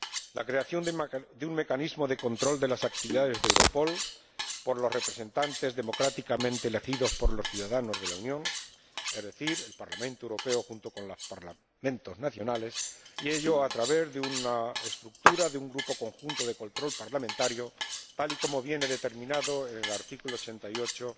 La creación de un mecanismo de control de las actividades de Europol por los representantes democráticamente elegidos por los ciudadanos de la Unión, es decir, el Parlamento Europeo junto con los Parlamentos nacionales, y ello a través de una estructura, de un grupo conjunto de control parlamentario, tal y como viene determinado en el artículo 88